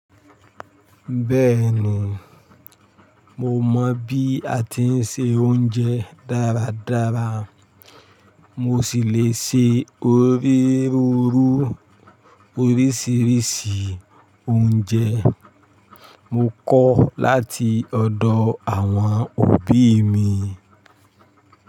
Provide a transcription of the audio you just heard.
Bẹ́ẹ̀ni, mo mọ bí a ti ń se oúnjẹ dáradára. Mo sì lè se oríru orísìírísìí oúnjẹ mo kọ láti ọ̀dọ̀ àwọn òbí mi.